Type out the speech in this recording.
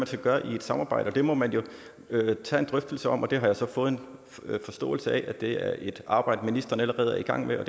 skal gøre i et samarbejde og det må man jo tage en drøftelse om jeg har så fået en forståelse af at det er et arbejde ministeren allerede er i gang med og